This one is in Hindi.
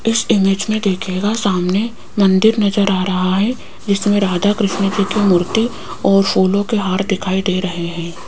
इस इमेज मे देखियेगा सामने मंदिर नजर आ रहा है जिसमें राधा कृष्णजी की मूर्ति और फूलों के हार दिखाई दे रहे है।